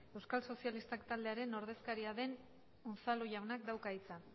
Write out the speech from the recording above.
euskal sozialistak taldearen ordezkaria den unzalu jaunak dauka hitza